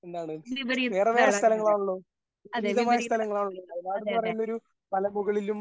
എന്താണ് വേറെ വേറെ സ്ഥലങ്ങളാണല്ലോ? വിപരീതമായ സ്ഥലങ്ങളാണല്ലോ? വയനാട് എന്ന് പറയുന്നത് ഒരു മലമുകളിലും